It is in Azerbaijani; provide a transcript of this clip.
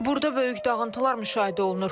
Burada böyük dağıntılar müşahidə olunur.